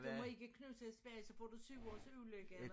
Du må ikke knuste et spejl så får du 7 års ulykke eller